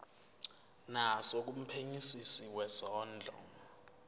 naso kumphenyisisi wezondlo